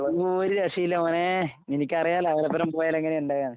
ഒര് രക്ഷയും ഇല്ല മോനെ. നിനക്കറിയാല്ലാ അവരൊപ്പനെ പോയാൽ എങ്ങനെയാ ഇണ്ടാകാന്ന്.